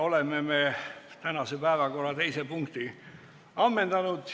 Oleme tänase päevakorra teise punkti ammendanud.